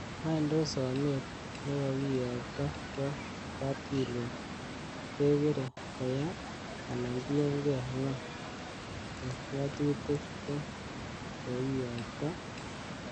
wany tos somet nekokiyokto kwo kapkirwok kekere koya, anan tienge ngo ko ngatutik ko kokiyokto?